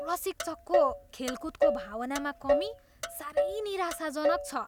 प्रशिक्षकको खेलकुदको भावनामा कमी साह्रै निराशाजनक छ।